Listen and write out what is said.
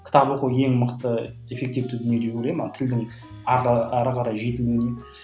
кітап оқу ең мықты эффективті дүние деп ойлаймын тілдің әрі қарай жетілуіне